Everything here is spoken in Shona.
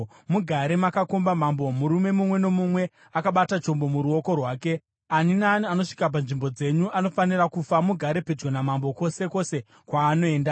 Mugare makakomba mambo, murume mumwe nomumwe akabata chombo muruoko rwake. Ani naani anosvika panzvimbo dzenyu anofanira kufa. Mugare pedyo namambo kwose kwose kwaanoenda.”